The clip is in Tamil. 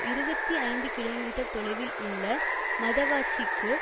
இருபத்தி ஐந்து கிலோமீட்டர் தொலைவில் உள்ள மதவாச்சிக்கு